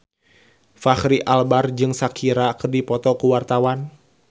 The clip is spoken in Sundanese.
Fachri Albar jeung Shakira keur dipoto ku wartawan